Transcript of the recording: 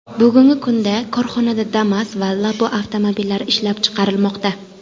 Bugungi kunda korxonada Damas va Labo avtomobillari ishlab chiqarilmoqda.